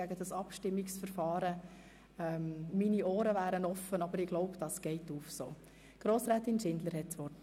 Für die SP-JUSO-PSA-Fraktion hat Grossrätin Schindler das Wort.